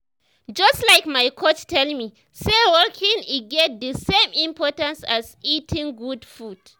just like my coach tell me say walking e get the same importance as eating good food.